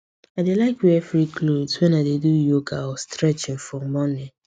i dey like wear free clothes when i dey do yoga or stretching for morning